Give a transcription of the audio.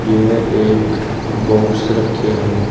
यह एक बॉक्स रखे हैं।